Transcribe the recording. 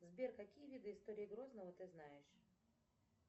сбер какие виды истории грозного ты знаешь